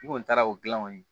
I kɔni taara o dilan kɔni